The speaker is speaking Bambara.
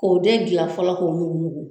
K'o den gilan fɔlɔ k'o nugu nugu